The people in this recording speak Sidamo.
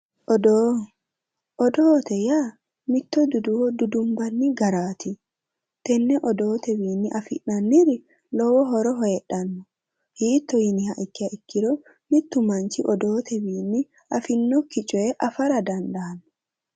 Odoo yaa mitto dudduwo dudunbanni garaati, tenne odootewiinni afi'nanniri lowo horo heedhanno hiitto yiniha ikkiha ikkiro mittu manchi odootewiinni afi'nokki coye afara dandaanno